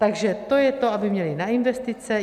Takto to je to, aby měly na investice.